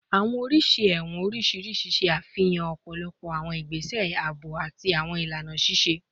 Awọn oriṣi ẹwọn oriṣiriṣi ṣe afihan ọpọlọpọ awọn igbese aabo ati awọn ilana ṣiṣe